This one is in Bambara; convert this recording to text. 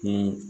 Ko